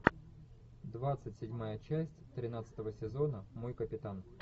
двадцать седьмая часть тринадцатого сезона мой капитан